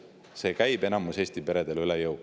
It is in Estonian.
See käib enamikule Eesti peredele üle jõu.